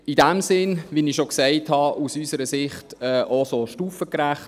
In diesem Sinne ist es aus unserer Sicht stufengerecht.